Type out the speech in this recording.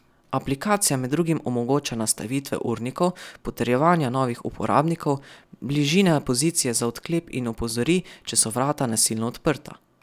Aplikacija med drugim omogoča nastavitve urnikov, potrjevanja novih uporabnikov, bližine pozicije za odklep in opozori, če so vrata nasilno odprta.